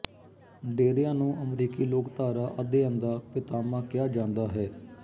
ਡੇਰਿਆਂ ਨੂੰ ਅਮਰੀਕੀ ਲੋਕਧਾਰਾ ਅਧਿਐਨ ਦਾ ਪਿਤਾਮਾ ਕਿਹਾ ਜਾਂਦਾ ਹੈ